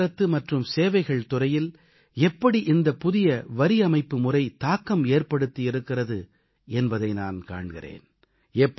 போக்குவரத்து மற்றும் சேவைகள் துறையில் எப்படி இந்தப் புதிய வரியமைப்பு முறை தாக்கம் ஏற்படுத்தியிருக்கிறது என்பதை நான் காண்கிறேன்